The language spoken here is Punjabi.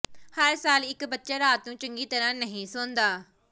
ਹਰ ਸਾਲ ਇਕ ਬੱਚਾ ਰਾਤ ਨੂੰ ਚੰਗੀ ਤਰ੍ਹਾਂ ਨਹੀਂ ਸੌਂਦਾ